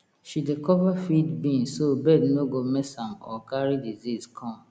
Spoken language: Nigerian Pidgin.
she dey cover feed bin so bird no go mess am or carry disease come